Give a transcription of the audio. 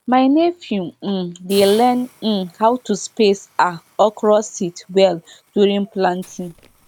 my nephew um dey learn um how to space um okra seed well during planting